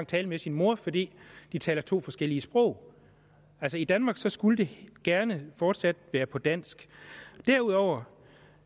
tale med sin mor fordi de taler to forskellige sprog altså i danmark skulle det gerne fortsat være på dansk derudover